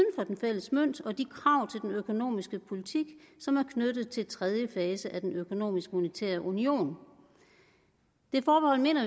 den fælles mønt og de krav til den økonomiske politik som er knyttet til tredje fase af den økonomiske og monetære union det forbehold mener